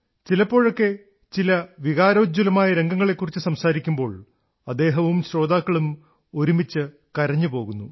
ചിലപ്പോഴൊക്കെ ചില വികാരോജ്വലമായ രംഗങ്ങളെക്കുറിച്ച് സംസാരിക്കുമ്പോൾ അദ്ദേഹവും ശ്രോതാക്കളും ഒരുമിച്ച് കരഞ്ഞുപോകുന്നു